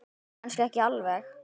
Kannski ekki alveg.